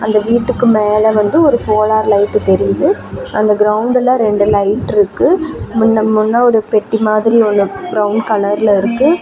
இந்த வீட்டுக்கு மேல வந்து ஒரு சோலார் லைட்டு தெரியுது அந்த க்ரௌண்டுல ரெண்டு லைட் இருக்கு முன்ன முன்ன ஒரு பெட்டி மாதிரி ஒன்னு ப்ரௌன் கலர்ல இருக்கு.